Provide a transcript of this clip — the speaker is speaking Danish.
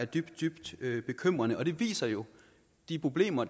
dybt dybt bekymrende og det viser jo de problemer